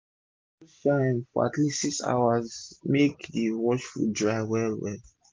sun suppose shine for at least 6 hours make d washed food dry well well